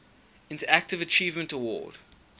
interactive achievement award